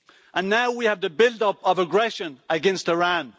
And now we have the build up of aggression against Iran.